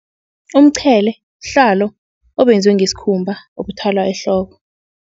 Umqhele buhlalo obenzwe ngesikhumba obuthwalwa ehloko.